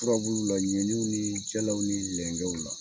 Furabuluw la, ɲɛninw, ni jɛlaw, ni lɛngɛw la.